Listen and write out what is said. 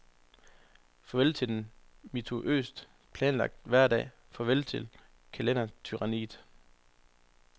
Farvel til den minutiøst planlagte hverdag, farvel til kalendertyranniet.